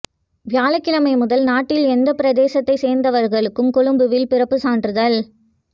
வியாழக்கிழமை முதல் நாட்டில் எந்த பிரதேசத்தை சேர்ந்தவர்களுக்கும் கொழும்பில் பிறப்பு சான்றிதழ்